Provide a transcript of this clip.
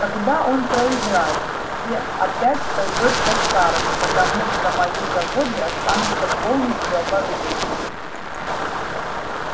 тогда он проиграет и все опять пойдёт по-старому потому что мои заводы останутся полностью оборудованными